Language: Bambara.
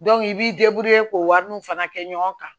i b'i k'o wari nu fana kɛ ɲɔgɔn kan